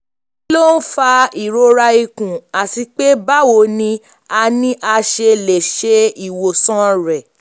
kí ló ń fa ìrora ikùn àti pé báwo ni a ni a ṣe lè ṣe ìwòsàn rẹ̀?